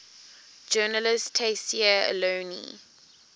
journalist tayseer allouni